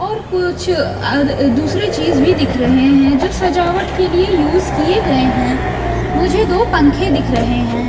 और कुछ दूसरी चीज भी दिख रहे हैं जो सजावट के लिए यूज किए गए हैं मुझे दो पंखे दिख रहे हैं।